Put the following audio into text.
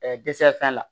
dɛsɛ fɛn na